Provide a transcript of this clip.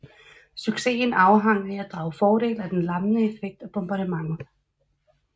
Succesen afhang af at drage fordel af den lammende effekt af bombardementet